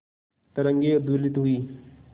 तरंगे उद्वेलित हुई